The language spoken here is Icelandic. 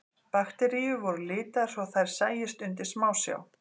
Bakteríur voru litaðar svo þær sæjust undir smásjá.